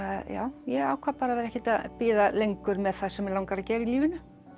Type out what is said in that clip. ég ákvað að vera ekkert að bíða lengur með það sem mig langar að gera í lífinu